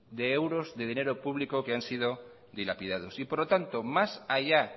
de euros de dinero público que han sido dilapidados por lo tanto más allá